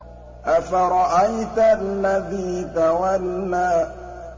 أَفَرَأَيْتَ الَّذِي تَوَلَّىٰ